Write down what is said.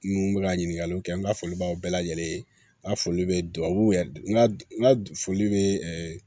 Numu bɛ ka ɲininkaliw kɛ n ka foli b'aw bɛɛ lajɛlen ye n ka foli bɛ dubabuw yɛrɛ de foli bɛ